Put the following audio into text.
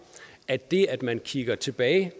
at det at man kigger tilbage